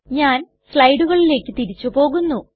ഞാൻ സ്ലയ്ടുകളിലേക്ക് തിരിച്ചു പോകുന്നു